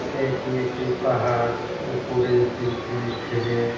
Side -এ একটি পাহাড় উপরে তিনটি ছেলে ।